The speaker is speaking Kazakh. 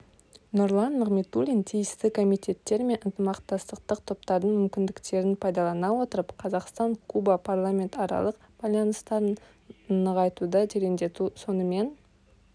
нұрлан нығматулин тиісті комитеттер мен ынтымақтастық топтардың мүмкіндіктерін пайдалана отырып қазақстан-куба парламентаралық байланыстарын нығайтуды тереңдету сонымен